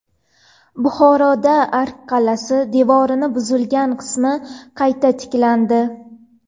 Buxoroda Ark qal’asi devorining buzilgan qismi qayta tiklandi.